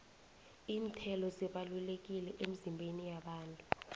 iinthelo zibalulekile emizimbeni yabantu